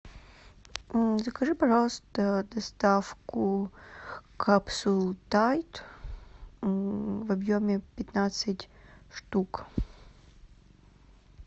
закажи пожалуйста доставку капсул тайд в объеме пятнадцать штук